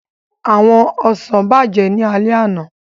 Àwọn ọsàn bàjẹ́ ní alẹ́ àná